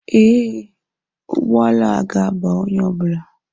Ee, ụgbọala a ga-aba onye ọ bụla